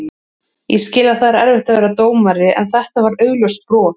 Ég skil að það er erfitt að vera dómari en þetta var augljóst brot.